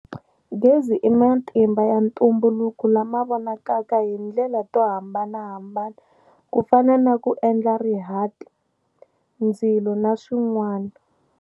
Gezi i matimba ya ntumbuluko lama vonakaka hi ndlela to hambanahambana ku fana na ku endla rihati, ndzilo naswin'wana.